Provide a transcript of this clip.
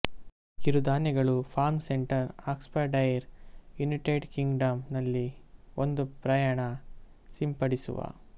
ಕಿರುಧಾನ್ಯಗಳು farm centre Oxfordshire United Kingdom ನಲ್ಲಿ ಒಂದು ಪ್ರಯಾಣ ಸಿಂಪಡಿಸುವ